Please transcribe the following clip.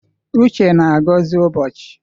Uche na-agọzi ụbọchị.